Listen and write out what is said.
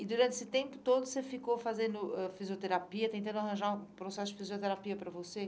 E durante esse tempo todo você ficou fazendo ãh fisioterapia, tentando arranjar um processo de fisioterapia para você?